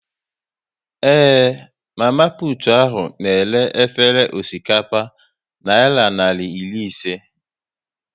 Ee, mama putu ahu na-ere efere osikapa naira narị iri ise